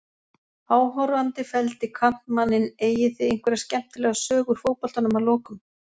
Áhorfandi felldi kantmanninn Eigið þið einhverja skemmtilega sögu úr fótboltanum að lokum?